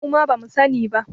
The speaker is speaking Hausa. Muma bamu sa ni ba